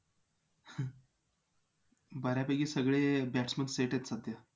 बऱ्यापैकी सगळे batsman set आहेत सध्या